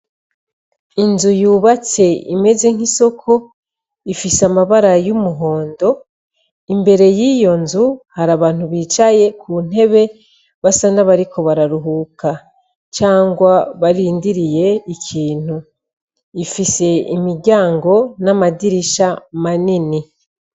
Inzu yubatse imeze nk'isoko ifise amabara y'umuhondo imbere y'iyo nzu hari abantu bicaye ku ntebe basa n'abariko bararuhuka cangwa barindiriye ikintu ifise imijyango n'amadirisha manini.